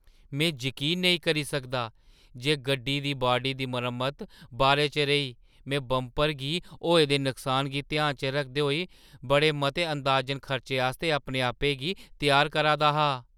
में जकीन नेईं करी सकदा जे गड्डी दी बाडी दी मरम्मत बारे च रेही! में बंपर गी होए दे नुकसान गी ध्याना च रखदे होई बड़े मते अंदाजन खर्चे आस्तै अपने आपै गी त्यार करा दा हा।